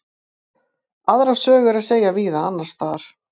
Aðra sögu er að segja víða annars staðar.